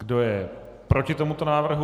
Kdo je proti tomuto návrhu?